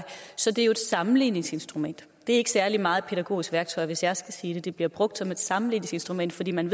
så det er jo et sammenligningsinstrument det er ikke særlig meget et pædagogisk værktøj hvis jeg skulle sige det det bliver brugt som et sammenligningsinstrument fordi man